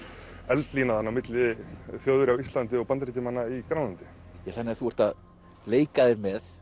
eldlína á milli Þjóðverja á Íslandi og Bandaríkjamanna í Grænlandi þannig að þú ert að leika þér með